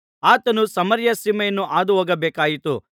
ಆತನು ಸಮಾರ್ಯ ಸೀಮೆಯನ್ನು ಹಾದುಹೋಗಬೇಕಾಯಿತು